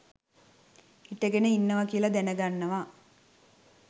හිටගෙන ඉන්නවා කියල දැනගන්නවා.